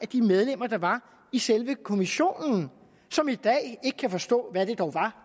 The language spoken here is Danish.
de medlemmer der var i selve kommissionen som i dag ikke kan forstå hvad det dog var